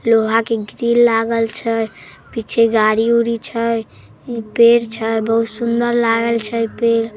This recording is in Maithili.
लोहा के ग्रिल ऊरिल लागल छैपीछे गाड़ी उरी छै पेड़ छै बहुत सुन्दर लागल छैपेड़ ।